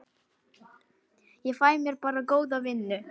Ég fæ mér bara góða vinnu.